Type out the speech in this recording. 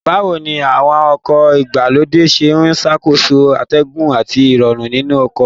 Báwo ni àwọn ọkọ̀ ìgbàlódé ṣe ń ṣàkóso atẹ́gùn àti Ìrọ̀rùn nínú ọkọ̀